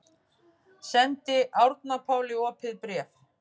Sendir Árna Páli opið bréf